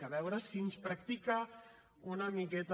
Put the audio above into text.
a veure si ens practica una miqueta